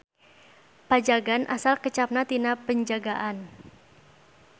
Pajagan asal kecapna tina Penjagaan.